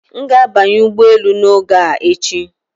M ga-abanye ụgbọ elu n'oge a echi